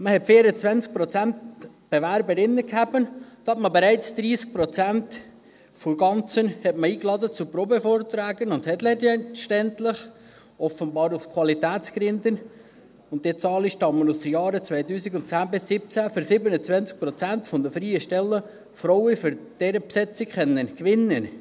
Man hatte 24 Prozent Bewerberinnen, davon wurden bereits 30 Prozent zu Probevorträgen eingeladen, und letztendlich hat man, offenbar aus Qualitätsgründen –diese Zahlen stammen aus dem Jahr 2010–2017 – für 27 Prozent der freien Stellen Frauen für deren Besetzung gewinnen können.